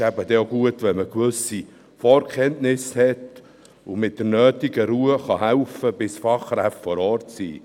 Dann ist es gut, wenn man gewisse Vorkenntnisse hat und mit der nötigen Ruhe helfen kann, bis Fachkräfte vor Ort sind.